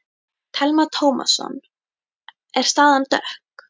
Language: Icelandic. Telma Tómasson: Er staðan dökk?